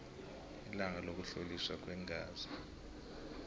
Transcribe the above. ilanga lokuhloliswa kweengazi